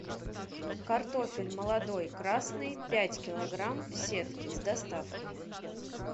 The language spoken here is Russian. картофель молодой красный пять килограмм в сетке с доставкой